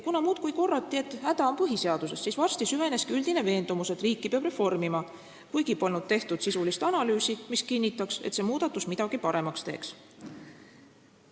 Kuna muudkui korrati, et häda on põhiseaduses, siis varsti süveneski üldine veendumus, et riiki peab reformima, kuigi polnud tehtud sisulist analüüsi, mis kinnitanuks, et see muudatus midagi paremaks teeks.